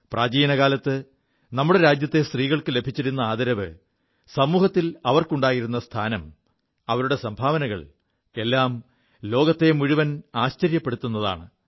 പ്രാചീന കാലത്ത് നമ്മുടെ രാജ്യത്തെ സ്ത്രീകൾക്കു ലഭിച്ചിരു ആദരവ് സമൂഹത്തിൽ അവർക്കുണ്ടായിരു സ്ഥാനം അവരുടെ സംഭാവനകൾ എല്ലാം ലോകത്തെ മുഴുവൻ ആശ്ചര്യപ്പെടുത്തുതാണ്